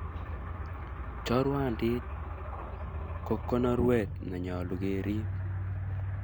Chorwandiit ko konorweet ne nyolu keriip.